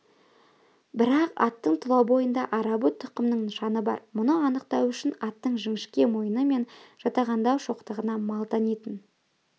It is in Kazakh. бірақ аттың тұлабойында арабы тұқымның нышаны бар мұны анықтау үшін аттың жіңішке мойыны мен жатағандау шоқтығына мал танитын